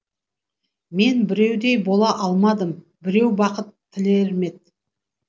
мен біреудей бола алмадым біреу бақыт тілермет